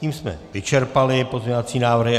Tím jsme vyčerpali pozměňovací návrhy.